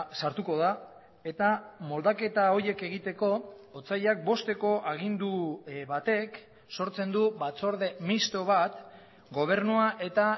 sartuko da eta moldaketa horiek egiteko otsailak bosteko agindu batek sortzen du batzorde misto bat gobernua eta